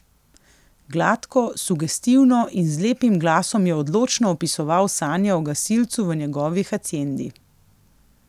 Gladko, sugestivno in z lepim glasom je odločno opisoval sanje o gasilcu v njegovi haciendi.